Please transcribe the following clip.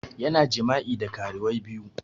Yana jima'i da karuwai biyu